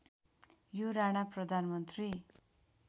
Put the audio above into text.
यो राणा प्रधानमन्त्री